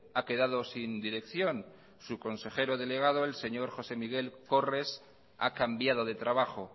ha quedado sin dirección su consejero delegado el señor josé miguel corres ha cambiado de trabajo